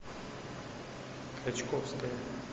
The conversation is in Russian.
качковская